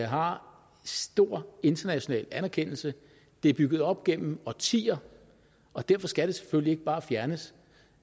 har stor international anerkendelse det er bygget op gennem årtier og derfor skal det selvfølgelig ikke bare fjernes